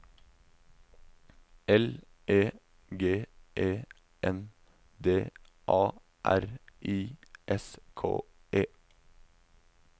L E G E N D A R I S K E